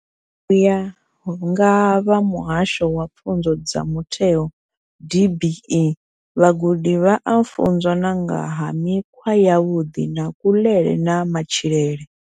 U ya nga vha muhasho wa pfunzo dza mutheo DBE, vhagudi vha a funzwa na nga ha mikhwa yavhuḓi ya kuḽele na matshilele.